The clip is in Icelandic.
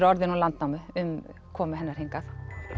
orðin úr Landnámu um komu hennar hingað